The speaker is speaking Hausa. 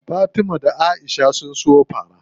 Fatima da Aisha ne suka siyo fara.